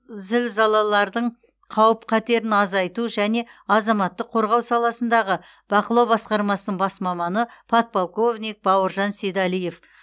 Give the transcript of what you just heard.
зілзалалардың қауіп қатерін азайту және азаматтық қорғау саласындағы бақылау басқармасының бас маманы подполковник бауыржан сейдалиев